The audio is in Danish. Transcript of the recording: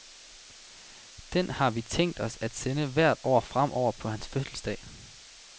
Den har vi tænkt os at sende hvert år fremover på hans fødselsdag.